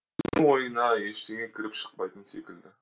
ойына ештеңе кіріп шықпайтын секілді